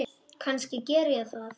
Kannski geri ég það.